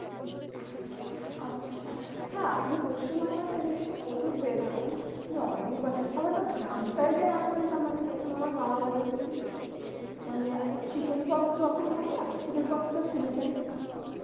আচ্ছা, হ্যাঁ আপনি পশ্চিমবাংলাতে এই জিনিসটা প্রচুর পেয়ে থাকবেন। যে অনেক বাচ্ছা, আবার তো গ্রাম সাইডে এমন একটা যেমন আমার মামার বাড়ীর ঐখানে মানে chickenfox যখন হয় না? chickenfox তো শুনেছেন।